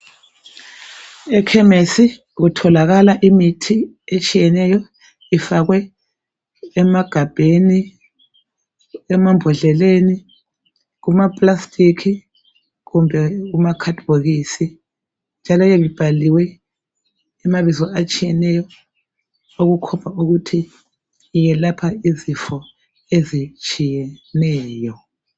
Ekhemesi kutholakala imithi etshiyeneyo ifakwe emagabheni, emambodleleni, kumaplastic kumbe kumakhadibhokisi njalo yabe ibhaliwe amabizo atshiyeneyo okukhomba ukuthi iyelapha izifo ezitshiyeneyo.